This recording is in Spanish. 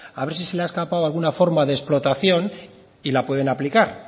a ver si se le ha escapado alguna forma de explotación y le pueden aplicar